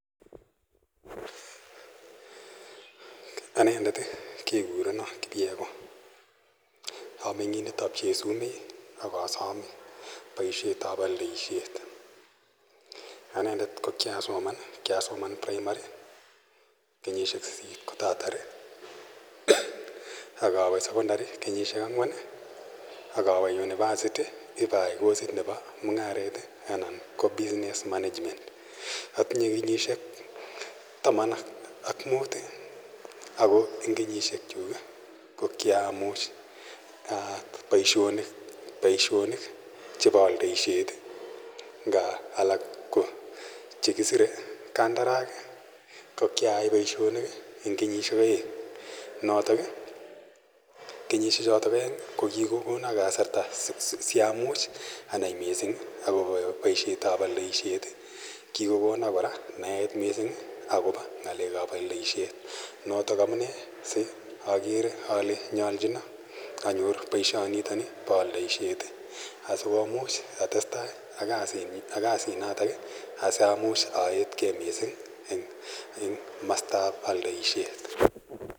Anendet kekurenon Kipyegon, ameng'indet ab Chesumet ako asome boisiet ab oliset, kiasoman en primary kenyisiek sisit ako kiowe sekondary akowe university akayi kosit nebo mung'aret anan ko Business Management ,otinye kenyisiek taman ak mut ako en kenyisiek kyuk ko kiamuch boiesiet nebo olisiet en kaa chekisire ko kia yai boisiet en kenyisiek oeng' ko en kenyiseik choton kokikonon kasarta asiamuch anai missing boisiet ab olisiet ako kikokono missing anai notok amune akere ole nyolchinon boisiet ab olisiet asiamuch atestai ak kasit notok asamuch oetkei missing en komostab oldoisiet.